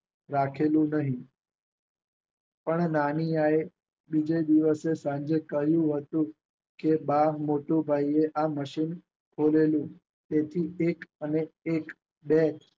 રાખેલું નહિ. પણ નાનિયાએ બીજા દિવસે સાંજે કહ્યું હતું કે બા મોટું ભાઈએ આ મશીન ખોલેલું તેથી એક અને એક બે